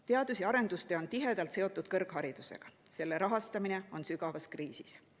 Teadus‑ ja arendustöö on tihedalt seotud kõrgharidusega, selle rahastamine on sügavas kriisis.